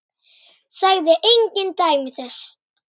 Sagði engin dæmi þess.